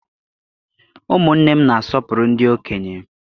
Ụmụnne m na-asọpụrụ ndị okenye.